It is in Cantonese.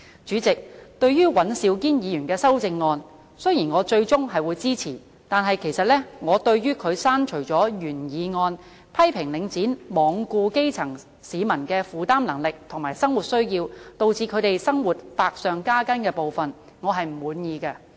主席，對於尹兆堅議員的修正案，雖然我最終是會支持的，但我對於他刪除了原議案批評"領展罔顧基層市民的負擔能力及生活需要，導致他們的生活百上加斤"的部分，我是不滿意的。